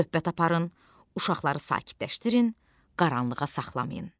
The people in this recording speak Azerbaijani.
Söhbət aparın, uşaqları sakitləşdirin, qaranlığa saxlamayın.